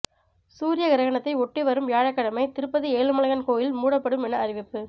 சூரிய கிரகணத்தை ஒட்டி வரும் வியாழக்கிழமை திருப்பதி ஏழுமலையான் கோயில் மூடப்படும் என அறிவிப்பு